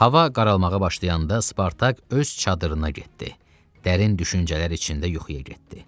Hava qaralmağa başlayanda Spartak öz çadırına getdi, dərin düşüncələr içində yuxuya getdi.